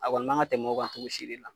A kɔni man ka tɛm'o kan cogo si de la.